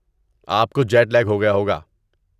آپ کو jet lag ہو گیا ہوگا۔